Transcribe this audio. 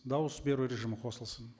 дауыс беру режимі қосылсын